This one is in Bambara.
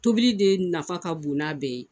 Tobili de nafa ka bon n'a bɛɛ ye